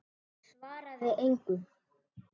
Hann svaraði engu.